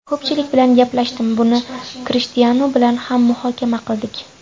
Ko‘pchilik bilan gaplashdim, buni Krishtianu bilan ham muhokama qildik.